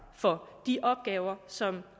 for de opgaver de som